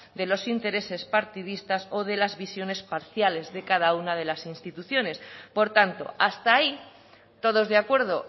de los intereses partidistas o de las visiones parciales de cada una de las instituciones por tanto hasta ahí todos de acuerdo